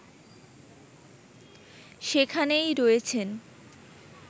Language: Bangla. সেখানেই রয়েছেন